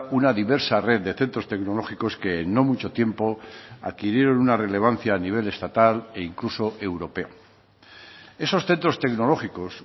una diversa red de centros tecnológicos que en no mucho tiempo adquirieron una relevancia a nivel estatal e incluso europeo esos centros tecnológicos